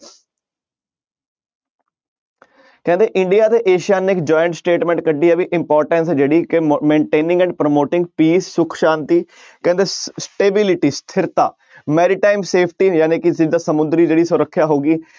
ਕਹਿੰਦੇ ਇੰਡੀਆ ਤੇ ਏਸੀਆ ਨੇ ਇੱਕ joint statement ਕੱਢੀ ਹੈ ਵੀ importance ਜਿਹੜੀ ਕਿ ਮ~ maintaining and promoting peace ਸੁੱਖ ਸ਼ਾਂਤੀ ਕਹਿੰਦੇ stability ਸਥਿਰਤਾ safety ਜਾਣੀਕਿ ਜਿੱਦਾਂ ਸਮੁੰਦਰੀ ਜਿਹੜੀ ਸੁਰੱਖਿਆ ਹੋ ਗਈ